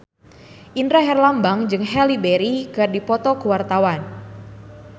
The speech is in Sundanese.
Indra Herlambang jeung Halle Berry keur dipoto ku wartawan